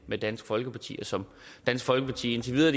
med dansk folkeparti og som dansk folkeparti indtil videre